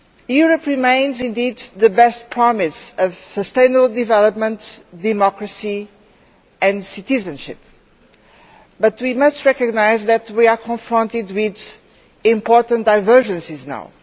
Europe remains indeed the best promise of sustainable development, democracy and citizenship, but we must recognise that we are confronted with important divergences now.